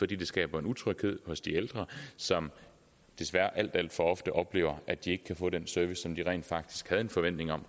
det skaber utryghed hos de ældre som desværre alt alt for ofte oplever at de ikke kan få den service som de rent faktisk havde en forventning om